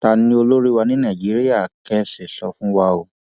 ta ni olórí wa ní nàìjíríà kẹ ẹ sọ fún wa o